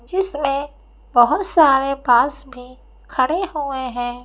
जिसमें बहुत सारे बस भी खड़े हुए हैं।